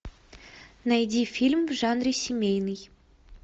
найди фильм в жанре семейный